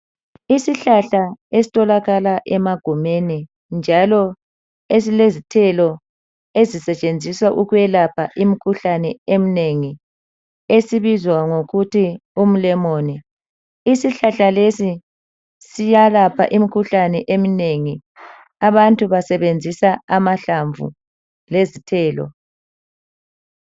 Isihlahla estholakala emagumeni njalo esilezithelo ezisetshenziswa ukwelapha imkhuhlane emnengi esibizwa ngokuthi umlemoni. Isihlahla lesi siyelapha imikhuhlane eminengi, abantu basebenzisa amahlamvu lezithelo.